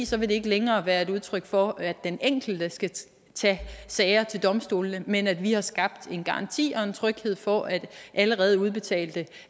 så vil det ikke længere være et udtryk for at den enkelte skal tage sager til domstolene men at vi har skabt en garanti og en tryghed for at allerede udbetalte